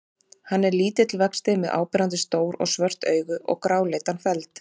Hann er lítill vexti með áberandi stór og svört augu og gráleitan feld.